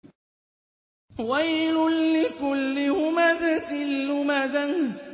وَيْلٌ لِّكُلِّ هُمَزَةٍ لُّمَزَةٍ